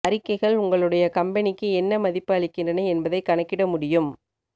அறிக்கைகள் உங்களுடைய கம்பெனிக்கு என்ன மதிப்பு அளிக்கின்றன என்பதைக் கணக்கிட முடியும்